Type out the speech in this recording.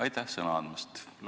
Aitäh sõna andmast!